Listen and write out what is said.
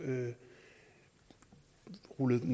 rullet en